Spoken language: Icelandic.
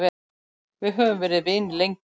Við höfum verið vinir lengi.